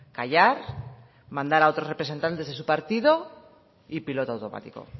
callar mandar a otros representantes de su partido y piloto automático